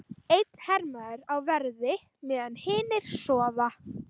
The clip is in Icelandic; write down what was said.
Einn hermaður á verði meðan hinir sofa.